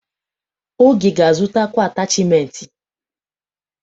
Oge ga-azụtakwu atachimentị.